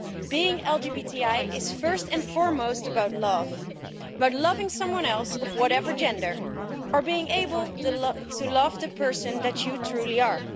Being LGBTI is first and foremost about love, about loving someone else of whatever gender, or being able to love the person that you truly are.